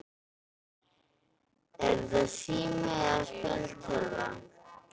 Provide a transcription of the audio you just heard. Er þetta sími eða spjaldtölva?